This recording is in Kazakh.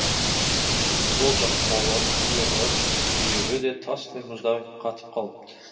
сол жақ қолы иығы бүйірі де тастай мұздай қатып қалыпты